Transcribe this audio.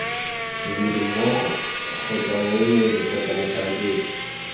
modirimmogo kgotsa moemedi kgotsa motlhankedi